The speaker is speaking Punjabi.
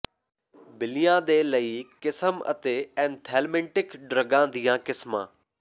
ਬਿੱਲੀਆਂ ਦੇ ਲਈ ਕਿਸਮ ਅਤੇ ਏਂਥੈਲਮਿੰਟਿਕ ਡਰੱਗਾਂ ਦੀਆਂ ਕਿਸਮਾਂ